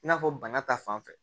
I n'a fɔ bana ta fan fɛ